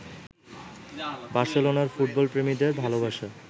বার্সেলোনার ফুটবলপ্রেমীদের ভালোবাসা